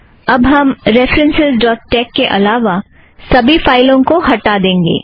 अब हम references dot tex के अलावा सभी फ़ाइलों को हटा देंगे